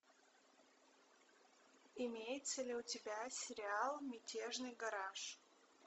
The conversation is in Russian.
имеется ли у тебя сериал мятежный гараж